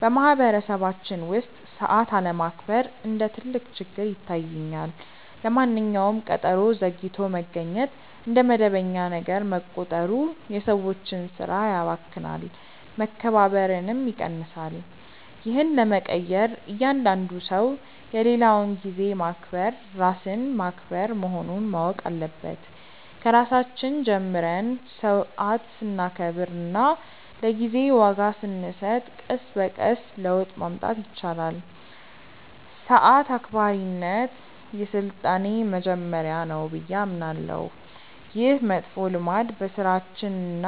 በማኅበረሰባችን ውስጥ ሰዓት አለማክበር እንደ ትልቅ ችግር ይታየኛል። ለማንኛውም ቀጠሮ ዘግይቶ መገኘት እንደ መደበኛ ነገር መቆጠሩ የሰዎችን ሥራ ያባክናል፣ መከባበርንም ይቀንሳል። ይህን ለመቀየር እያንዳንዱ ሰው የሌላውን ጊዜ ማክበር ራስን ማክበር መሆኑን ማወቅ አለበት። ከራሳችን ጀምረን ሰዓት ስናከብርና ለጊዜ ዋጋ ስንሰጥ ቀስ በቀስ ለውጥ ማምጣት ይቻላል። ሰዓት አክባሪነት የሥልጣኔ መጀመሪያ ነው ብዬ አምናለሁ። ይህ መጥፎ ልማድ በሥራችንና